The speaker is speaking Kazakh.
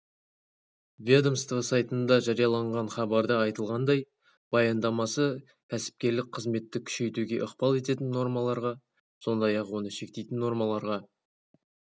ведомство сайтында жарияланған хабарда айтылғандай баяндамасы кәсіпкерлік қызметті күшейтуге ықпал ететін нормаларға сондай-ақ оны шектейтін нормаларға